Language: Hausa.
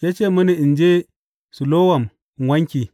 Ya ce mini in je Silowam in wanke.